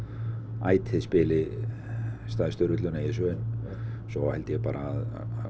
ætið spili stærstu rulluna í þessu svo held ég bara að